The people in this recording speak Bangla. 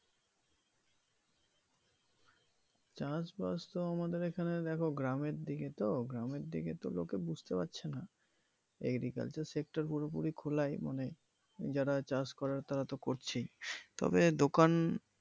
চাষ বাস তো আমাদের এইখানে দেখো গ্রামের দিকে তো গ্রামের দিকে লোকে বুঝতে পারছে নাহ agricultural sector পুরোপুরিই খোলাই মানে যারা চাষ করার তারা তো করছে তবে দোকান